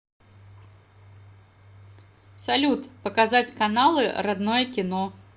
салют показать каналы родное кино